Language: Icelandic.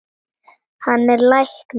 Hann er læknir.